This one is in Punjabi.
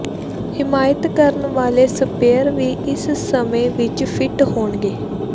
ਹਿਮਾਇਤ ਕਰਨ ਵਾਲੇ ਸਪਰੇਅ ਵੀ ਇਸ ਸਮੇਂ ਵਿਚ ਫਿੱਟ ਹੋਣਗੇ